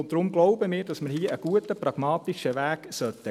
Deswegen glauben wir, dass wir einen guten, pragmatischen Weg gehen sollten.